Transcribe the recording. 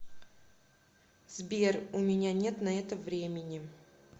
сбер у меня нет на это времени